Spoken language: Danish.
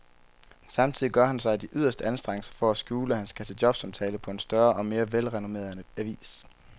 Samtidig gør han sig de yderste anstrengelser for at skjule, at han skal til jobsamtale på en større og mere velrenommeret avis.